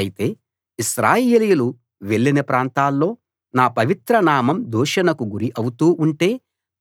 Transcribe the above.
అయితే ఇశ్రాయేలీయులు వెళ్ళిన ప్రాంతాల్లో నా పవిత్ర నామం దూషణకు గురి అవుతూ ఉంటే